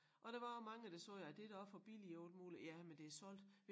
Og der var også mange der sagde at det da også for billigt og alt muligt ja men det solgt